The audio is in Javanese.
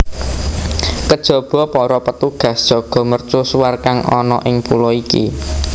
Kejaba para petugas jaga mercusuar kang ana ing pulo iki